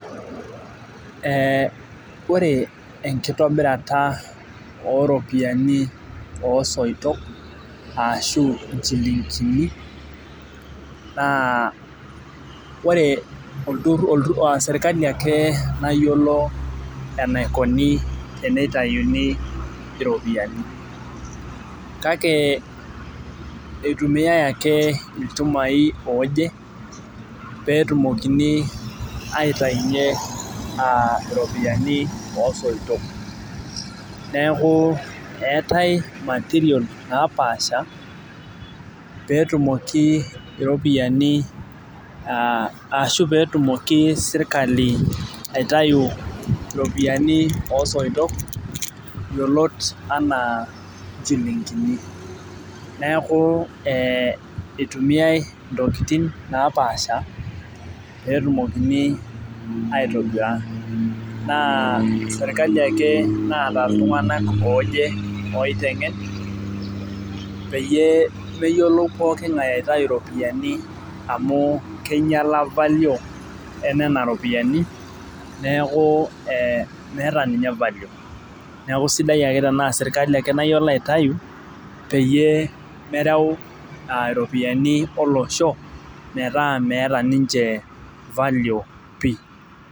Ore enkitobirata oo soitok aashu nchilinkini, naa ore sirkali ake mayiolo enaikoni tenitayuni iropiyiani kake, eitumiae ake ilchumai ooje, pee etumokini aitayinye aa iropiyiani oo soitok. neeku eetae material napaasha. peetumoki iropiyiani ashu pee etumoki sirkali aitayu iropiyiani osoitok yiolot anaa nchilinkini .neeku ee eitumiae intokitin napaasha pee etumokini aitobira. naa serkali ake oota iltunganak ooje. oitenge peyie meyiolou pooki ng'ae aitayu iropiyiani, amu kengiala value enema ropiyiani neeku ee meeta ninye value neeku sidai ake tenaa serkali ake mayiolo aitayu peyie mereu iropiyiani olosho metaa meeta ninche value pii.